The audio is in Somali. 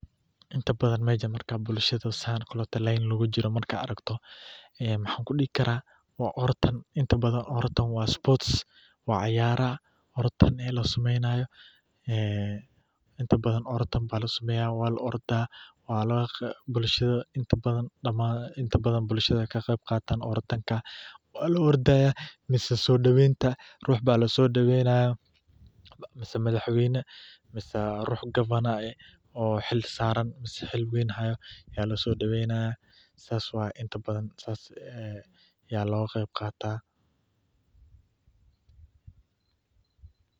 Inta badan markaad aragto bulshada oo saf kujirto, inta badan waa orotam, waa la ordaayan, mise soo daween, mise madax weyna, ayaa lasoo daweynaya.